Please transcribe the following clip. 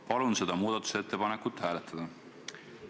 Palun seda muudatusettepanekut hääletada!